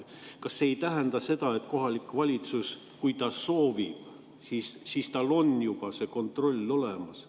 Kas see ei tähenda seda, et kui kohalik omavalitsus soovib, siis tal on juba see kontroll olemas?